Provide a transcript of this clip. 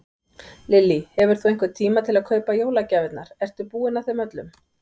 Lillý: Hefur þú einhvern tíma til að kaupa jólagjafirnar, ertu búinn að þeim öllum?